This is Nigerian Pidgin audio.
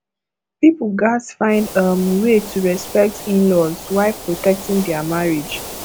pipo gatz find um way to respect inlaws while protecting their marriage